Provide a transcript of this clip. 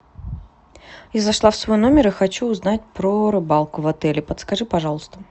я зашла в свой номер и хочу узнать про рыбалку в отеле подскажи пожалуйста